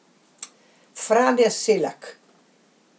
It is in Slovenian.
Frane Selak.